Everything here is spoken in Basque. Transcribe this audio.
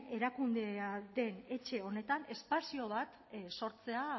erakundea den etxe honetan espazio bat sortzea